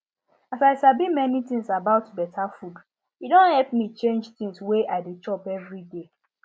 as i sabi many things about better food e don help me change things wey i dey chop every day